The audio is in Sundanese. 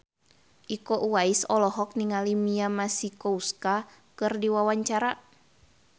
Iko Uwais olohok ningali Mia Masikowska keur diwawancara